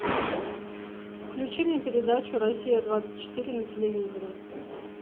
включи мне передачу россия двадцать четыре на телевизоре